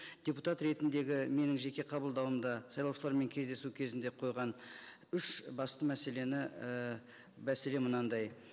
депутат ретіндегі менің жеке қабылдауымда сайлаушылармен кездесу кезінде қойған үш басты мәселені ііі мәселе мынандай